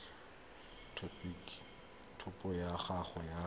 a topo ya gago ya